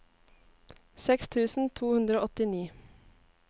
seks tusen to hundre og åttini